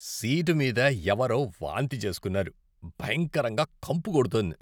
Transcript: Seat మీద ఎవరో వాంతి చేస్కున్నారు, భయంకరంగా కంపు కొడుతోంది.